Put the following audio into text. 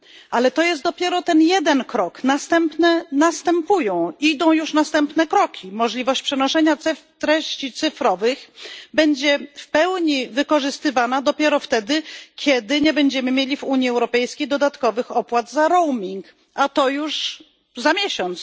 Ale to jest dopiero ten jeden krok, przed nami już następne kroki możliwość przenoszenia treści cyfrowych będzie w pełni wykorzystywana dopiero wtedy, kiedy nie będziemy mieli w Unii Europejskiej dodatkowych opłat za roaming, a to już za miesiąc.